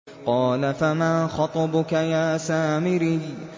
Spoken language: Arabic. قَالَ فَمَا خَطْبُكَ يَا سَامِرِيُّ